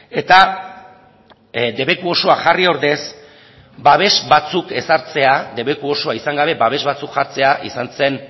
eta debeku osoa jarri ordez babes batzuk ezartzea debeku osoa izan gabe babes batzuk jartzea izan zen